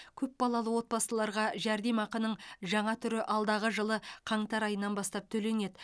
көпбалалы отбасыларға жәрдемақының жаңа түрі алдағы жылы қаңтар айынан бастап төленеді